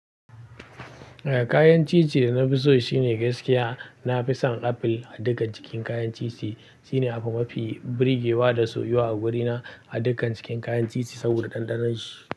Eh kayan ciye-ciye da na fi so shine gaskiya. Na fi son apple a dukkan cikin kayan ciye-ciye. Shine abu mafi birgewa da soyuwa a wurina a dukkan cikin kayan ciye-ciye saboda ɗanɗanon shi.